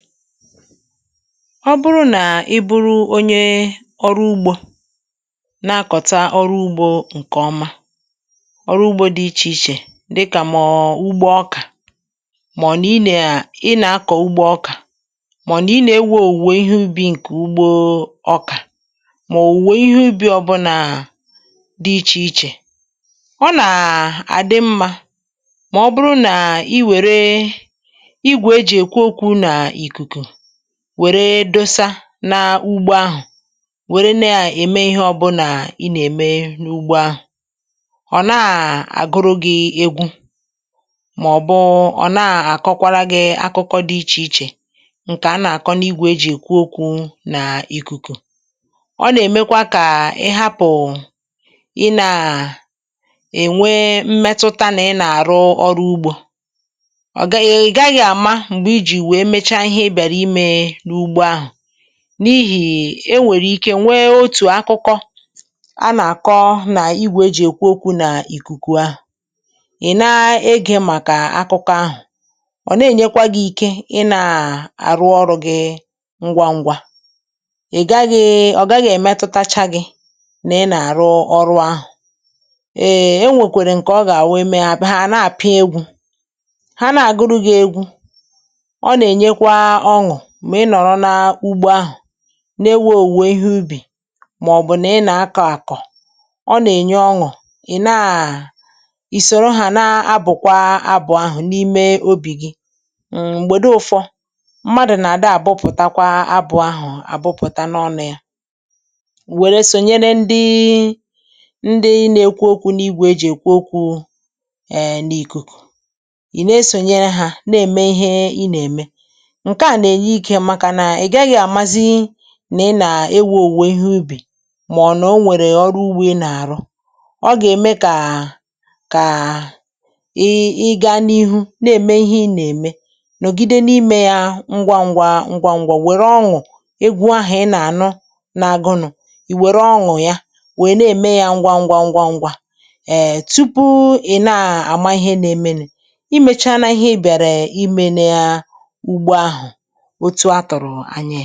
Ọ̀ bụrụ nà ị bụrụ onye ọrụ ugbȯ na-akọ̀ta ọrụ ugbȯ ǹkè ọma, ọrụ ugbȯ dị iche iche dịkà mọọ̀ ugbȯ ọkà. Mà ọ̀ nà ị nà-akọ̀ ugbȯ ọkà, mà ọ̀ nà ị nà-ewe òwùwè ihe ubì ǹkè ugbȯ ọkà, òwùwè ihe ubì ọ bụrụ nà dị iche iche, ọ nà-àdị mmȧ. Mà ọ bụrụ nà ị wèrè, wèrè dosa n’ugbò ahụ̀, wèrè nà-ème ihe ọbụnà ị nà-ème n’ugbò ahụ̀, ọ̀ nà-àgụrụ gị̇ egwu, màọ̀bụ̀ ọ̀ nà-àkọkwara gị̇ akụkọ dị iche iche. Ǹkè a nà-àkọ n’igwė ejì èkwu okwu̇ n’ikùkù, ọ nà-èmekwa kà ị hapụ̀, ị nà-ènwe mmetụ̀tà nà ị nà-àrụ ọrụ ugbȯ.Ọ̀ gaghị̇ àma, n’ihì e nwèrè ike nwee otù akụkọ a nà-àkọ n’igwè ejì èkwu okwu̇ nà ìkùkù ahụ̀. Ị̀ na-egị̇, màkà akụkọ ahụ̀, ọ̀ na-ènyekwa gị̇ ike. Ị nà-àrụ ọrụ̇ gị ngwa ngwa. Ị gaghị̇—ọ gaghị̇ èmetutachaghị nà ị nà-àrụ ọrụ̇ ahụ̀.Ēē, e nwèkwèrè ǹkè ọ gà-àwụ, eme ha, àna-àgụrụ egwu̇. Ha nà-àgụrụ gị̇ egwu̇ n’ìwe òwùwè ihe ubì, màọ̀bụ̀ nà ị nà-akọ̇ àkọ̀. Hmm… ọ nà-ènye ọṅụ̀ ị̀ naà, ị sòro hà, na-abụ̀kwa abụ̀ ahụ̀ n’ime obì gị. M̀gbèdo ụfọ̇ mmadụ̀ nà-àda, àbụpụ̀takwa abụ̇ ahụ̀ àbụpụ̀ta n’ọnọ̇ ya. Wèrè sònyere ndị ị na-ekwu okwu̇ n’igwè ejì èkwu ọkụ e n’ìkùkù. Ị̀ na-esònyere hà na-ème ihe ị nà-ème. Àmazi nà, ị nà-ewè òwù ehi ubì. Màọ̀nụ̀, ehm, o nwèrè ọrụ ugbȯ ị nà-àrụ, ọ gà-ème kà ị gaa n’ihu na-ème ihe ị nà-ème, nọ̀gide n’imē ya ngwa ngwa ngwa ngwa. Nwèrè ọṅụ̀, ịgwụ̇ ahụ̀, ị nà-ànọ n’agụnụ̀. Ì wèrè ọṅụ̀ ya, wèe na-ème ya ngwa ngwa ngwa ngwa, tupu ị̀ na-àma ihe na-emenù, imēchana ihe bịàrà, imē, na-ahụ̀ otu à tọ̀rọ̀ ànyị.